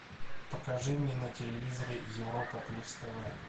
покажи мне на телевизоре европа плюс тв